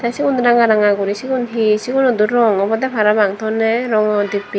te sigun ranga ranga guri sigun hi sigunodo rong obodey parapang tonney rongo dibbey.